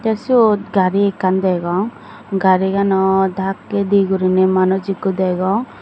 te siyot gari ekkan degong garigano dakkeydi guriney manuj ikko degong.